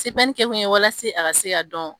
Sebɛnni kɛ kun ye walase a ka se ka dɔn